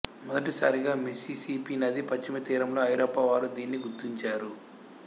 మొదటి సారిగా మిసిసిపి నది పశ్చిమ తీరములో ఐరోపా వారు దీనిని గుర్తించారు